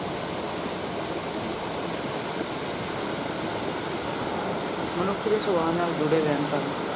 ਮਨੁੱਖ ਦੇ ਸੁਭਾਅ ਨਾਲ ਜੁੜੇ ਵਹਿਮ ਭਰਮ।